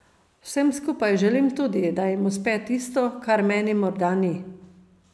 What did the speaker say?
Vsem skupaj želim tudi, da jim uspe tisto, kar meni morda ni.